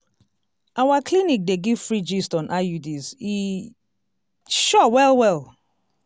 our clinic dey give free gist on iuds e sure well well!